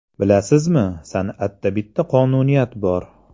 Bilasizmi, san’atda bitta qonuniyat bor.